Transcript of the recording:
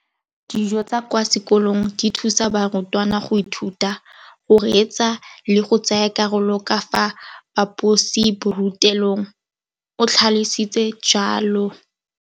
Dijo tsa kwa sekolong dithusa barutwana go ithuta, go reetsa le go tsaya karolo ka fa phaposiborutelong, o tlhalositse jalo.